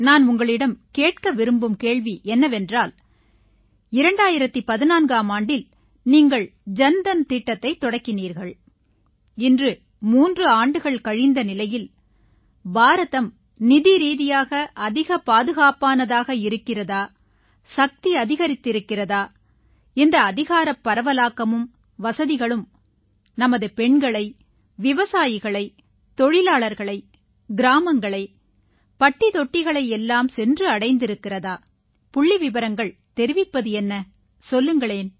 நான் உங்களிடம் கேட்க விரும்பும் கேள்வி என்னவென்றால் 2014ஆம் ஆண்டில் நீங்கள் ஜன் தன் திட்டத்தைத் தொடங்கினீர்கள் இன்று 3 ஆண்டுகள் கழிந்த நிலையில் பாரதம் நிதிரீதியாக அதிக பாதுகாப்பானதாக இருக்கிறதா சக்தி அதிகரித்திருக்கிறதா இந்த அதிகாரப் பரவலாக்கமும் வசதிகளும் நமது பெண்களை விவசாயிகளை தொழிலாளர்களை கிராமங்களை பட்டிதொட்டிகளை எல்லாம் சென்று அடைந்திருக்கிறதா புள்ளிவிவரங்கள் தெரிவிப்பது என்ன சொல்லுங்கள்